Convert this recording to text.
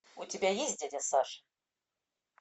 у тебя есть дядя саша